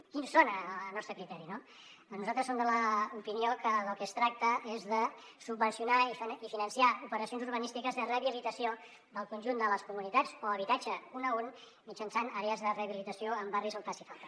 quins són al nostre criteri doncs nosaltres som de l’opinió que del que es tracta és de subvencionar i finançar operacions urbanístiques de rehabilitació del conjunt de les comunitats o habitatge un a un mitjançant àrees de rehabilitació en barris on faci falta